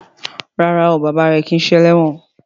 Ràrá o bàbá rẹ kí ṣe eléwòn.